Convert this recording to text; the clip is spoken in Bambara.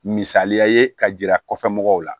Misaliya ye ka yira kɔfɛ mɔgɔw la